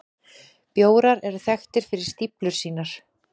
Bjórar eru þekktir fyrir stíflur sínar.